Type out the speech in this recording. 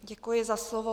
Děkuji za slovo.